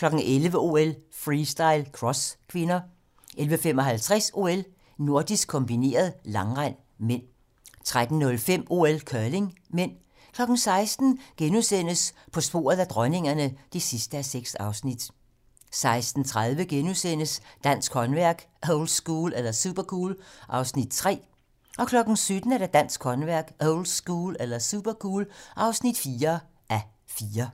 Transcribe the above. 11:00: OL: Freestyle - cross (k) 11:55: OL: Nordisk kombineret - langrend (m) 13:05: OL: Curling (m) 16:00: På sporet af dronningerne (6:6)* 16:30: Dansk håndværk - oldschool eller supercool? (3:4)* 17:00: Dansk håndværk - oldschool eller supercool? (4:4)